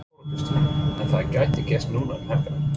Þóra Kristín: En það gæti gerst núna um helgina?